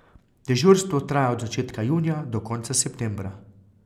Dežurstvo traja od začetka junija do konca septembra.